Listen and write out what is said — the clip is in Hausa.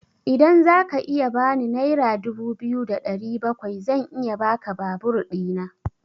Idan zaka iya bani naira dubu biyu da ɗari bakwai zan iya baka babur ɗina.